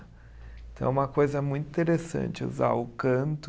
Então é uma coisa muito interessante usar o canto.